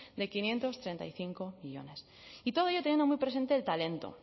de quinientos treinta y cinco millónes y todo ello teniendo muy presente el talento